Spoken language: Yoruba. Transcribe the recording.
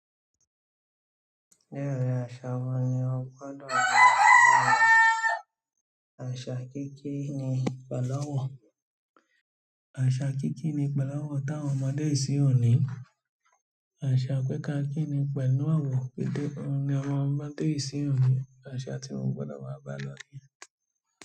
Díẹ̀ rí àṣà wo ni o gbọdọ̀ bá gbà lọ́la? Àṣà kí kí ni ìpàlọ́wọ́. Àṣà kíkíni pẹ̀láwọn táwọn ọmọdé ìsinyìí ò ní. Àṣà pé ká kíni pẹ̀lú àwọ̀n nítorí òun ni Ọlọ́run pè síyàn lọ́wọ́. Àṣà tí mo gbọ́dọ̀ máa bá náà nìyẹn.